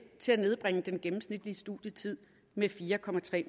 til at nedbringe den gennemsnitlige studietid med fire